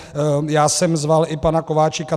Já jsem zval i pana Kováčika.